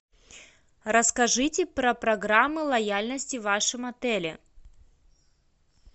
расскажите про программы лояльности в вашем отеле